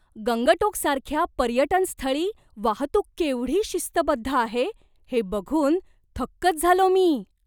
गंगटोकसारख्या पर्यटन स्थळी वाहतूक केवढी शिस्तबद्ध आहे हे बघून थक्कच झालो मी.